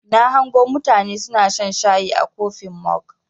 Na hango mutane suna shan shayi a kofin mog.